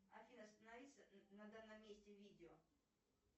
афина останови на данном месте видео